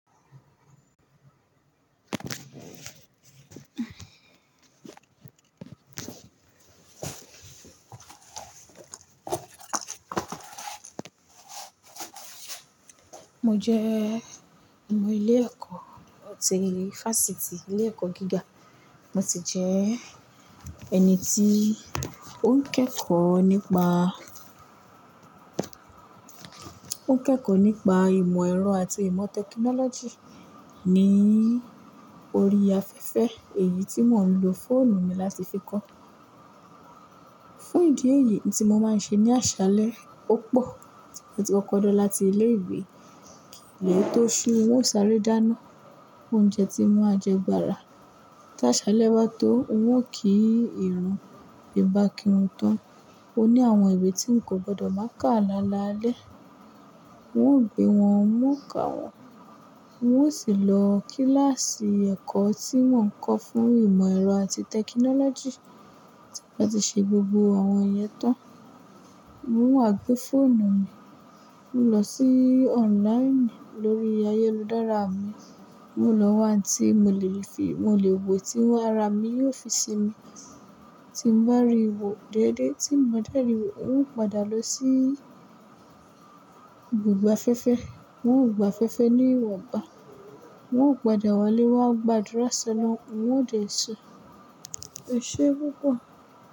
Mo jẹ́ ọmọ ilé ẹ̀kọ́ ti Fásitì, ilé ẹ̀kọ́ gíga. Mo ti jẹ́ ẹni tí ó ń kẹ́kọ̀ọ́ nípa, ó ń kẹ́kọ̀ọ́ nípa ìmọ̀ ẹ̀rọ àti ìmọ̀ technology ní orí afẹ́fẹ́. Èyí tí mò ń lo fóònù mi láti fi kọ́. Fún ìdí èyí, n tí mo máa ń ṣe ní àṣálẹ́ ó pọ̀, mo ti kọkọ́ lọ̀ láti ilé ìwé lè tó ṣú, wọn ó sáré dáná, óúnjẹ tí wọn á jẹ gbára. Tí àṣálẹ́ bá tó, wọn ò kí ìrun, ìbá kirun tán. O ní àwọn ìwé tí n kò gbọdọ̀ máa kà lálaalẹ́. N ó gbé wọn, n kà wọ́n. N ó sì lọ kíláàsì ẹ̀kọ́ tí mọ́ ń kọ́ fún ìmọ̀ ẹ̀rọ àti technology. Láti ṣe gbogbo àwọn ìyẹ́n tán. Mo ń wá gbé fóònù mi, mo lọ sí online lórí ayéludára mi. Mo lọ wá anti mo lè fi, mo lè wò tí wọn ara mi yóò fi sinmi. Tí mo bá rí wò déédéé, tí n bà dé ri wò, n ó padà lọ sí ibùgbà'fẹ́fẹ́. Wọn ò gba fẹ́fẹ́ ní ìwọ̀nba. Wọn ò padà wọlé, wá gbàdúrà sọlọun, wọn ò dé sùn. O ṣé púpọ̀